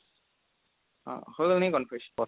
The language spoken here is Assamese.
অ' হৈ গ'ল নে conference